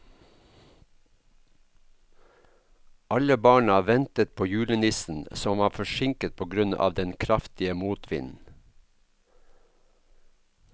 Alle barna ventet på julenissen, som var forsinket på grunn av den kraftige motvinden.